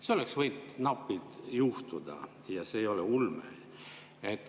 See oleks võinud napilt juhtuda ja see ei ole ulme.